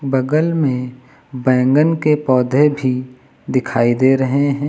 बगल में बैंगन के पौधे भी दिखाई दे रहे हैं।